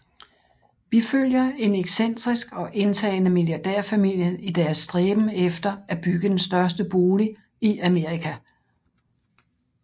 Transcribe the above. Vi følger en excentrisk og indtagende milliardærfamilie i deres stræben efter efter at bygge den største bolig i Amerika